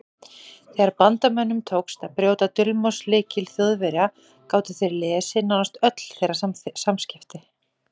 Þegar Bandamönnum tókst að brjóta dulmálslykil Þjóðverja gátu þeir lesið nánast öll þeirra samskipti.